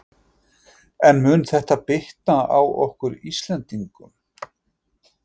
En mun þetta bitna á okkur Íslendingum?